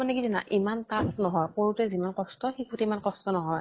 মানে কি জানা ইমান tough নহয়। কৰোতে যিমান কষ্ট, শিকোতে ইমান কষ্ট নহয়